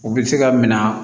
U bɛ se ka minɛ